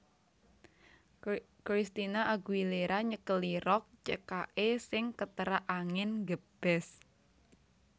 Christina Aguilera nyekeli rok cekake sing keterak angin nggebes